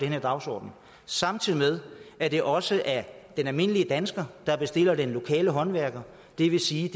her dagsorden samtidig med at det også er den almindelige dansker der bestiller den lokale håndværker og det vil sige